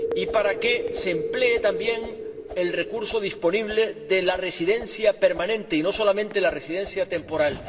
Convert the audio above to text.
para que se emplee el recurso disponible de la residencia permanente y no solamente la residencia temporal